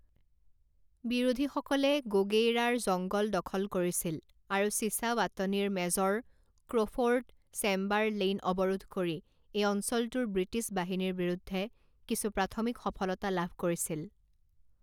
বিৰোধীসকলে গোগেইৰাৰ জঙ্গল দখল কৰিছিল আৰু চিছাৱাটনীৰ মেজৰ ক্ৰ'ফৰ্ড চেম্বাৰলেইন অৱৰোধ কৰি এই অঞ্চলটোৰ ব্ৰিটিছ বাহিনীৰ বিৰুদ্ধে কিছু প্ৰাথমিক সফলতা লাভ কৰিছিল।